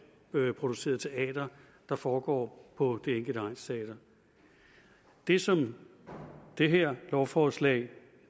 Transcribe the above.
produceret teater der foregår på det enkelte egnsteater det som det her lovforslag